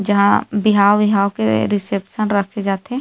जहाँ बिहाव-विहाव के रिसेप्शन रखे जाथे--